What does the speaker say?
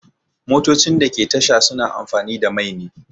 Motocin da ke tasha suna amfani da mai ne